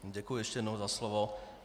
Děkuji ještě jednou za slovo.